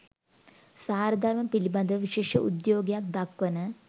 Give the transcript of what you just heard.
සාරධර්ම පිළිබඳව විශේෂ උද්‍යෝගයක් දක්වන